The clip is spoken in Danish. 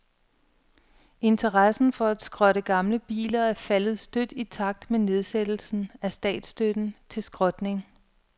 Interessen for at skrotte gamle biler er faldet støt i takt med nedsættelsen af statsstøtten til skrotning.